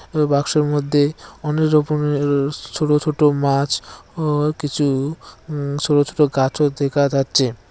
ওই বাক্সের মধ্যে অনেক রকমের ছোট ছোট মাছ ও কিছু হু ছোট ছোট গাছও দেখা যাচ্ছে।